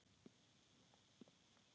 Finnur horfði út.